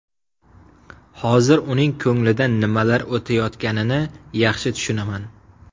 Hozir uning ko‘nglidan nimalar o‘tayotganini yaxshi tushunaman.